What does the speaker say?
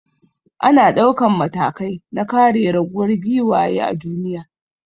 Ana daukan matakai na kare raguwar giwaye a duniya.